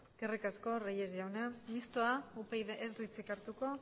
veremos eskerrik asko reyes jauna mistoa upyd taldeak ez du hitzik hartuko